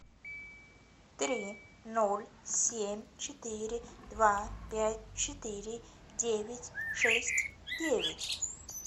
три ноль семь четыре два пять четыре девять шесть девять